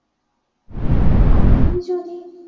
আপনি যদি